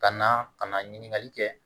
Ka na ka na ɲininkali kɛ